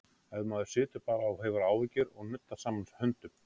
Ef maður situr bara og hefur áhyggjur og nuddar saman höndum?